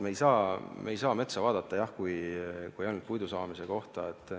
Me ei saa vaadata metsa kui ainult puidu saamise kohta.